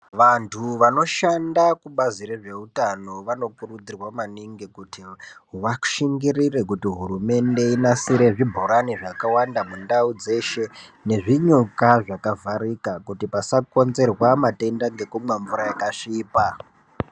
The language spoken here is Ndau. Vantu vanoshanda kubazi rezveutano vanokurudzirwa maningi kuti vashingirire kuti hurumende inasire zvibhorani zvakawanda mundau dzeshe. Nezvinyuka zvakavharika kuti pasakonzerwa matenda nekumwa mvura yakasvipa.